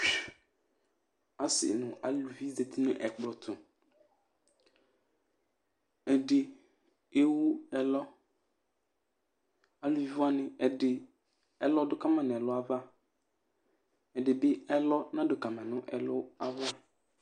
Asɩ nʋ aluvi zati nʋ ɛkplɔ tʋ Ɛdɩ ewu ɛlɔ Aluvi wanɩ, ɛdɩ ɛlɔ dʋ ka ma nʋ ɛlʋ ava, ɛdɩ bɩ ɛlɔ nadʋ ka ma nʋ ɛlʋ ava